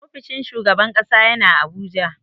Ofishin shugaban ƙasa yana Abuja.